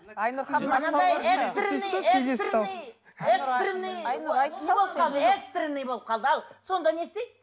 айнұр экстренный экстренный экстренный экстренный болып қалды ал сонда не істейді